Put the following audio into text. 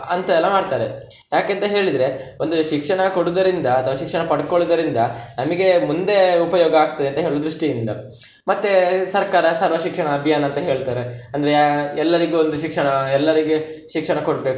ಅಂತದೆಲ್ಲ ಮಾಡ್ತಾರೆ, ಯಾಕೆಂತ ಹೇಳಿದ್ರೆ ಒಂದು ಶಿಕ್ಷಣ ಕೊಡುದರಿಂದ ಅಥವಾ ಶಿಕ್ಷಣ ಪಡ್ಕೊಳ್ಳುದರಿಂದ ನಮಿಗೆ ಮುಂದೆ ಉಪಯೋಗ ಆಗ್ತದೆ ಅಂತ ಹೇಳುವ ದೃಷ್ಟಿಯಿಂದ, ಮತ್ತೆ ಸರ್ಕಾರ ಸರ್ವ ಶಿಕ್ಷಣ ಅಭಿಯಾನ ಅಂತ ಹೇಳ್ತಾರೆ ಅಂದ್ರೆ ಯಾ~ ಎಲ್ಲರಿಗೂ ಒಂದು ಶಿಕ್ಷಣ, ಎಲ್ಲರಿಗೂ ಶಿಕ್ಷಣ ಕೊಡ್ಬೇಕು.